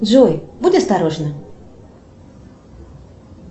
джой будь осторожна